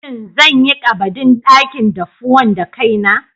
Shin zan yi ƙabadin dakin daffuwan da kaina?